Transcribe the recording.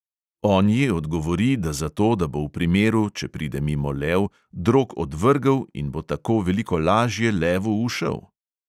On ji odgovori, da zato, da bo v primeru, če pride mimo lev, drog odvrgel in bo tako veliko lažje levu ušel …